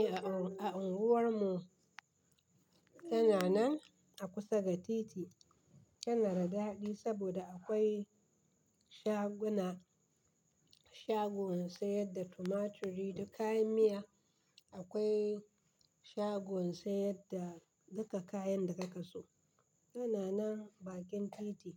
Eh, a unguwar mu tana nan a kusa da titi. Tana da daɗi saboda akwai shaguna, shagon sayar da tumaturi da kayan miya. Akwai shagon sayar da duka kayan da kake so. Tana nan bakin titi